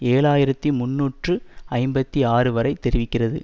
ஏழு ஆயிரத்தி முன்னூற்று ஐம்பத்தி ஆறு வரை தெரிவிக்கிறது